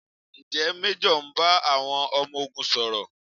Ǹjẹ́ Méjọ̀ ń bá àwọn ọmọ ogun sọ̀rọ̀?